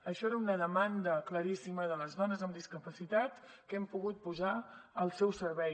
això era una demanda claríssima de les dones amb discapacitat que hem pogut posar al seu servei